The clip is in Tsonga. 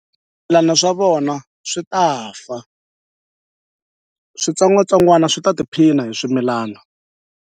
a swa vona swi ta fa switsongwatsongwana swi ta tiphina hi swimilana.